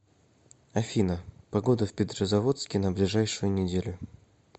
афина погода в петрозаводске на ближайшую неделю